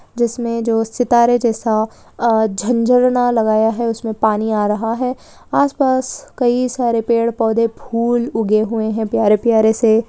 जिसमे मे जो सितारे जैसा अ जो झन झरना लगाया है उसमें पानी आ रहा है आस पास कई सारे पेड़-पौधे फूल उगे हुए है प्यारे-प्यारे से--